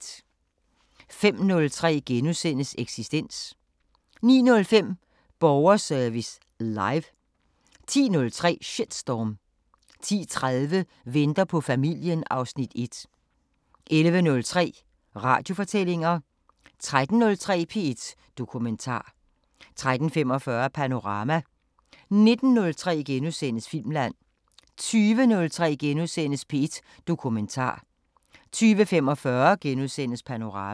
05:03: Eksistens * 09:05: Borgerservice Live 10:03: Shitstorm 10:30: Venter på familien (Afs. 1) 11:03: Radiofortællinger 13:03: P1 Dokumentar 13:45: Panorama 19:03: Filmland * 20:03: P1 Dokumentar * 20:45: Panorama *